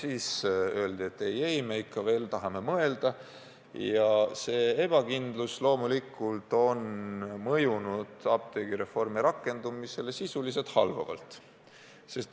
Aga öeldi, et ei-ei, me ikka veel tahame mõelda, ja see ebakindlus loomulikult on mõjunud apteegireformi rakendumisele halvavalt.